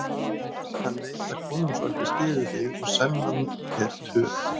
Hann veit að konungsvaldið styður þig og sennan er töpuð.